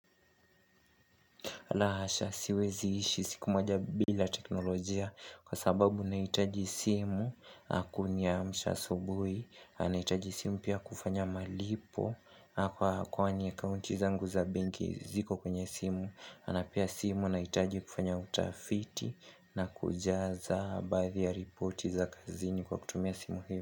La hasha siwezi ishi siku moja bila teknolojia kwa sababu na hitaji simu yakuniamsha asubuhi na itaji simu pia kufanya malipo kwa kwani account zangu za benki ziko kwenye simu na pia simu nahitaji kufanya utafiti na kujaza baadhi ya ripoti za kazini kwa kutumia simu hiyo.